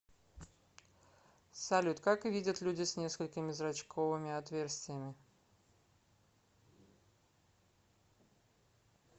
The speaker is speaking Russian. салют как видят люди с несколькими зрачковыми отверстиями